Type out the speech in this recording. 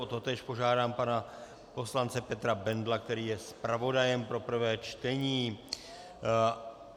O totéž požádám pana poslance Petra Bendla, který je zpravodajem pro prvé čtení.